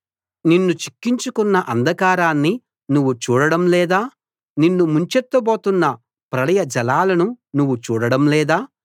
నిన్ను చిక్కించుకొన్న అంధకారాన్ని నువ్వు చూడడం లేదా నిన్ను ముంచెత్తబోతున్న ప్రళయ జలాలను నువ్వు చూడడం లేదా